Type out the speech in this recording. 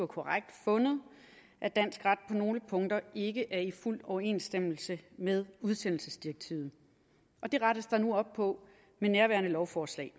korrekt fundet at dansk ret på nogle punkter ikke er i fuld overensstemmelse med udsendelsesdirektivet det rettes der nu op på med nærværende lovforslag